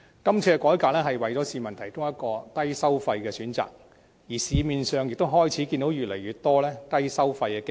這次改革為市民提供了一個低收費的選擇，而市面上亦開始看到越來越多低收費的基金。